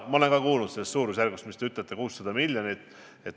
Ma olen ka kuulnud sellest suurusjärgust, mida te märkisite – 600 miljonit.